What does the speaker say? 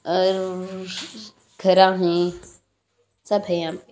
और घर अ हैं सब हैं यहाँ पे।